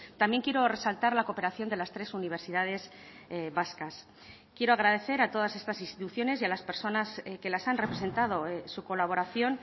también quiero resaltar la cooperación de las tres universidades vascas quiero agradecer a todas estas instituciones y a las personas que las han representado su colaboración